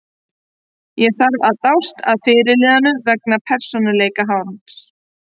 Ég þarf að dást að fyrirliðanum vegna persónuleika hans.